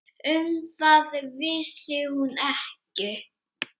Um það vissi hún ekki.